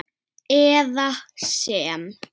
eða sem